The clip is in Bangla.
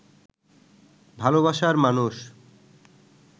ভালবাসার মানুষ